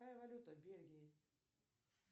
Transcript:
какая валюта в бельгии